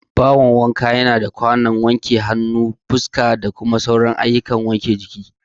Bahon wanka yana da kwano da ake wanke hannu, fuska, da sauran ayyukan tsaftar jiki.